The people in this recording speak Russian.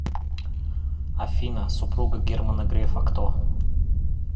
афина супруга германа грефа кто